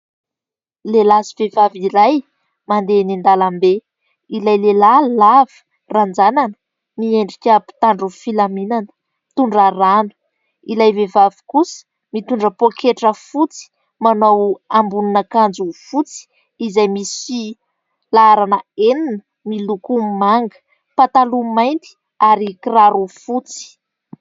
Lehilahy sy vehivavy iray mandeha eny an-dalambe. Ilay lehilahy lava ranjanana miendrika mpitandro filaminana mitondra rano. Ilay vehivavy kosa mitondra pôketra fotsy, manao ambonina akanjo fotsy izay misy laharana enina miloko manga, pataloha mainty ary kiraro fotsy.